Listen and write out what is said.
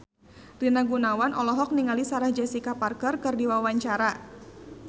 Rina Gunawan olohok ningali Sarah Jessica Parker keur diwawancara